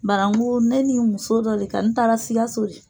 Bara n ko ne ni muso dɔ de ka n taara sikaso de.